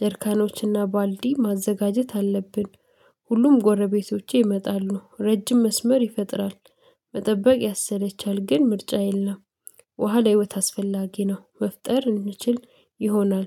ደርካኖችና ባልዲ ማዘጋጀት አለብን። ሁሉም ጎረቤቶቼ ይመጣሉ ረጅም መስመር ይፈጥራል፣ መጠበቅ ያሰለቻል ግን ምርጫ የለም ውሃ ለህይወት አስፈላጊ ነው። መፍጠር እንችል ይሆናል